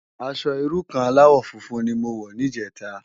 Aṣò irú kàn álàwò fúnfún ni mó wò nijètá